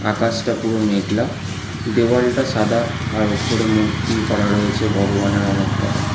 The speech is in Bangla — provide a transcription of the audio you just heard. আকাশটা পুরো মেঘলা দেওয়ালটা সাদা আর ওপরে মূর্তি করা রয়েছে ভগবানের অনেককটা।